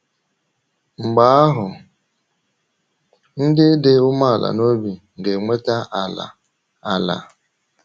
Mgbe ahụ, “ ndị dị umeala n’obi ga - enweta ala. ala. ”